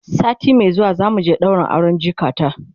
sati Mai zuwa zamu je ɗaurin auren jikata